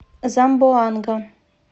замбоанга